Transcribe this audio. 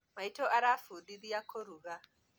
Maitũ arafũndithia kũruga